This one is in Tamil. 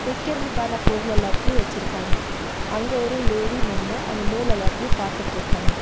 விக்கறதுக்கான பொருளெல்தையு வெச்சிருக்காங்க அங்க ஒரு லேடி நின்னு அந்த நூல் எல்லாத்தையு பாத்துட்ருக்காங்க.